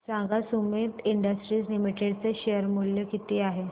सांगा Sumeet industries limited चे share मूल्य किती आहे